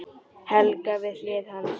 Helga við hlið hans.